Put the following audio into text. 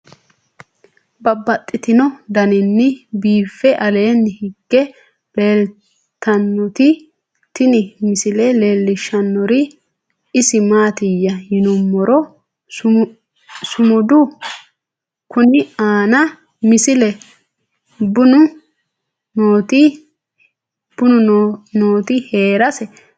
Babaxxittinno daninni biiffe aleenni hige leelittannotti tinni misile lelishshanori isi maattiya yinummoro sumudu konni aanna misile bunnu nootti heerasse leelishshanno.